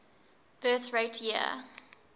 birth rate year